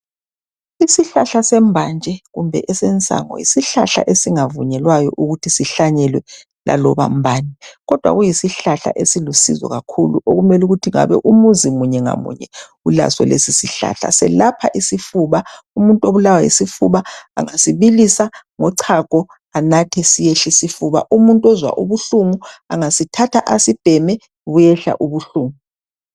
Isihlahla sembanje kumbe esensango yisihlahla esingavunyelwayo ukuthi sihlanyelwe laloba mbani kodwa kuyisihlahla esilusizo kakhulu okumele ukuthi ngabe umuzi munye ngamunye ulaso lesisihlahla. Selapha isifuba. Umuntu obulawa yisifuba angasibilisa ngochago anathe siyehla isifuba. Umuntu ozwa ubuhlungu angasithatha asibheme buyehla ubuhlungu